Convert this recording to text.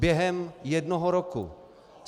Během jednoho roku.